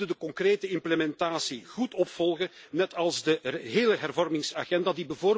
We moeten de concrete implementatie goed opvolgen, net als de hele hervormingsagenda.